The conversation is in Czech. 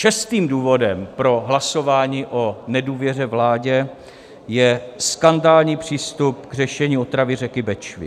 Šestým důvodem pro hlasování o nedůvěře vládě je skandální přístup k řešení otravy řeky Bečvy.